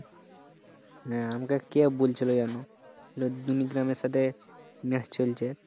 হ্যাঁ, আমাকে কে বুলছিল যে দুনিগ্রামের এর সাথে match চলছে